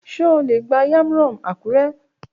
Ṣe o le gba Yam rom Akure?